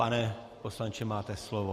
Pane poslanče, máte slovo.